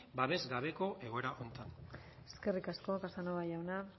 babes gabeko egoera honetan eskerrik asko casanova jauna